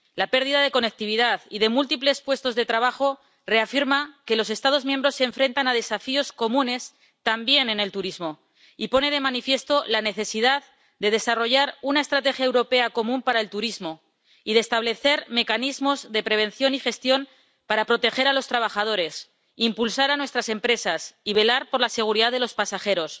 La pérdida de conectividad y de múltiples puestos de trabajo reafirma que los Estados miembros se enfrentan a desafíos comunes, también en el turismo, y pone de manifiesto la necesidad de desarrollar una estrategia europea común para el turismo y de establecer mecanismos de prevención y gestión para proteger a los trabajadores, impulsar a nuestras empresas y velar por la seguridad de los pasajeros.